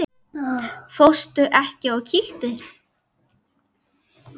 Fórstu ekki og kíktir?